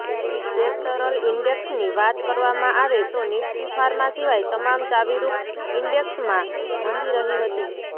sectoral ઇન્ડેક્સની વાત કરવામાં આવે તો નિફ્ટી ફાર્મા સિવાય તમામ ચાવીરૂપ ઇન્ડેક્સમાં મંદી રહી હતી